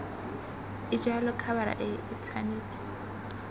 e jalo khabara e tshwanetse